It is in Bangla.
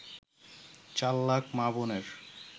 চার লাখ মা-বোনের